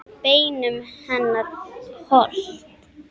Beinum hennar hold.